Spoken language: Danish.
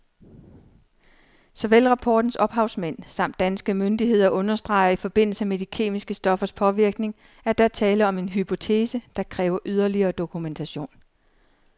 Såvel rapportens ophavsmænd samt danske myndigheder understreger i forbindelse med de kemiske stoffers påvirkning, at der er tale om en hypotese, der kræver yderligere dokumentation.